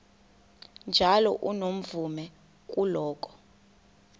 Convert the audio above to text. njalo unomvume kuloko